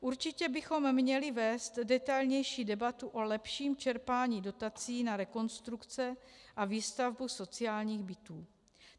Určitě bychom měli vést detailnější debatu o lepším čerpání dotací na rekonstrukce a výstavbu sociálních bytů.